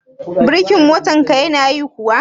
Birkin motar ka ya na yi kuwa?